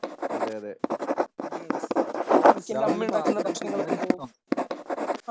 അതെ അതെ രാഹുലിന് പാചകം ചെയ്യാനിഷ്ടമാണോ?